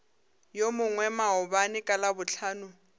yo mongwe maabane ka labohlano